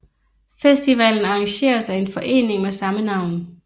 Festivalen arrangeres af en forening med samme navn